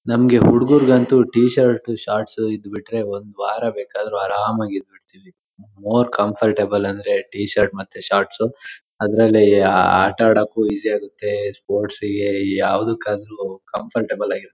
ನಮ್ಗೆ ಹುಡುಗರಿಗೆ ಅಂತೂ ಟಿ ಶರ್ಟ್ ಶಾರ್ಟ್ಸ್ ಇದ್ಬಿಟ್ರೆ ಒಂದ್ ವಾರಬೇಕಾದರು ಆರಾಮಾಗಿ ಇದ್ಬಿಡ್ತೀವಿ. ಮೋರ್ ಕಂಫರ್ಟಬಲ್ ಅಂದ್ರೆ ಟಿ ಶರ್ಟ್ ಮತ್ತೆ ಶಾರ್ಟ್ಸ್ ಅದರಲ್ಲಿ ಆಹ್ಹ್ಹ್ ಆಟ ಆಡೋಕ್ಕೂ ಈಝಿ ಆಗುತ್ತೆ ಸ್ಪೋರ್ಟ್ಸ್ ಗೆ ಯಾವುದಕ್ಕೆ ಆದ್ರೂ ಕಂಫರ್ಟಬಲ್ ಆಗಿ ಇರುತ್ತೆ.